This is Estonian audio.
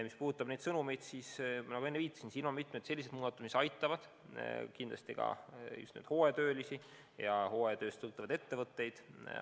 Mis puudutab inimestele antavaid sõnumeid, siis nagu ma enne viitasin, mitmed kõnealused muudatused aitavad kindlasti ka just hooajatöölisi ja hooajatööst sõltuvaid ettevõtteid.